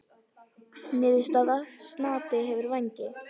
Niðurstaða: Snati hefur vængi.